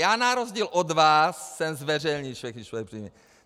Já na rozdíl od vás jsem zveřejnil všechny svoje příjmy.